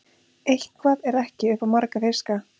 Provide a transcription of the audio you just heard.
Eitthvað er ekki upp á marga fiska